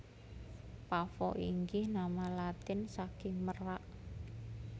Pavo inggih nama Latin saking merak